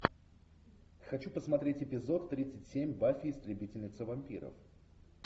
хочу посмотреть эпизод тридцать семь баффи истребительница вампиров